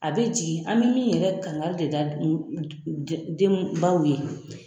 A bɛ jigin an bɛ min yɛrɛ kanga de da denbaw ye.